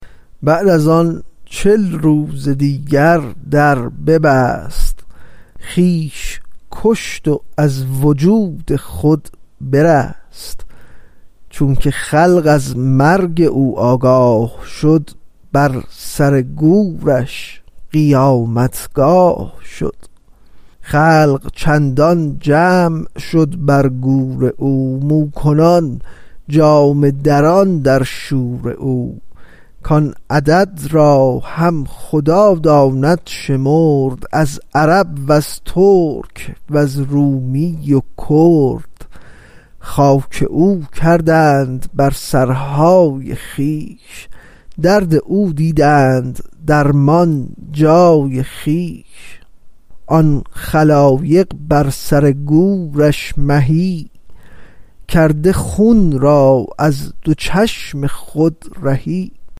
بعد از آن چل روز دیگر در ببست خویش کشت و از وجود خود برست چونک خلق از مرگ او آگاه شد بر سر گورش قیامتگاه شد خلق چندان جمع شد بر گور او مو کنان جامه دران در شور او کان عدد را هم خدا داند شمرد از عرب وز ترک و از رومی و کرد خاک او کردند بر سرهای خویش درد او دیدند درمان جای خویش آن خلایق بر سر گورش مهی کرده خون را از دو چشم خود رهی